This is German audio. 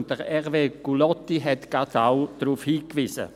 Und Hervé Gullotti hat gerade auch darauf hingewiesen.